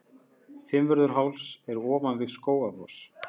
Fimmvörðuháls er ofan við Skógafoss.